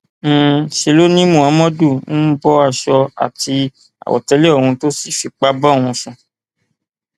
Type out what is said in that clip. um ṣe ló ni muhammadu um bọ aṣọ àti àwọtẹlẹ òun tó sì fipá bá òun sùn